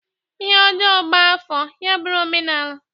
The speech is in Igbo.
Ihe ojoo gba-afo, ya buru omenaala.